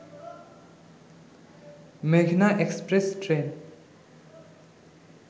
মেঘনা express train